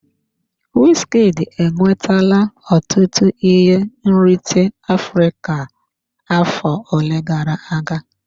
Wizkid enwetala ọtụtụ ihe nrite Afrịka afọ ole gara aga.